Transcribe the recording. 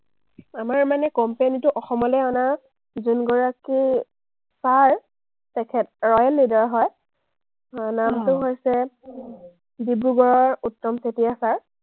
আমাৰ মানে company টো অসমলে অনাৰ যোনগৰাকী ছাৰ, তেখেত ৰ হয়, আহ নামটো হৈছে ডিব্ৰুগড়ৰ উত্তম চেতিয়া ছাৰ।